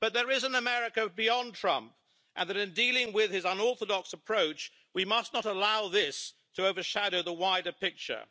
But there is an America beyond Trump and in dealing with his unorthodox approach, we must not allow this to overshadow the wider picture.